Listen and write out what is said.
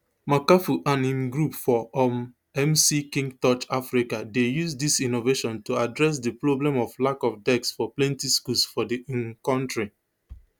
makafui and im group for um mckingtorch africa dey use dis innovation to address di problem of lack of deks for plenti schools for di um kontri